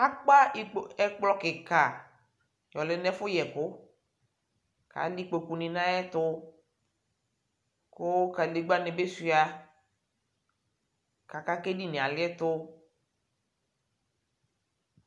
akpa ɛkplɔ kika yɔ lɛ nʊ ɛfʊ yɛkʊ, kʊ alɛ ikpokunɩbɩ nʊ ayɛtʊ, kʊ kadegbǝnɩ bɩ suia, aka kʊ edini yɛ aliɛtʊ